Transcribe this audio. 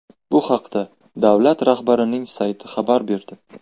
Bu haqda davlat rahbarining sayti xabar berdi .